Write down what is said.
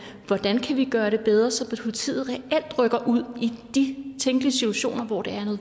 gøre det bedre så politiet reelt rykker ud i de tænkelige situationer hvor